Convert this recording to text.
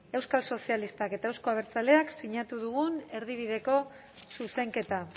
euskal sozialistak eta euzko abertzaleak sinatu dugun erdibideko zuzenketa